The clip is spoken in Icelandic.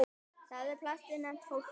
Þar er plastið nefnt hólkur.